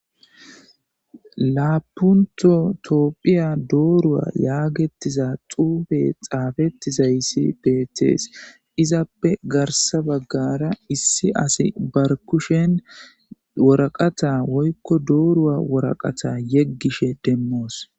laapunto toopphiya doorua yaagetiza xuube xaafetizayssi beetees izappe garsa baggara issi asi barkushen woraqata woykko doorua woraqata yeggishe demmoos